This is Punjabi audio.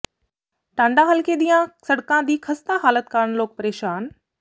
ਟਾਂਡਾ ਹਲਕੇ ਦੀਆਂ ਸੜਕਾਂ ਦੀ ਖਸਤਾ ਹਾਲਤ ਕਾਰਨ ਲੋਕ ਪ੍ਰੇਸ਼ਾਨ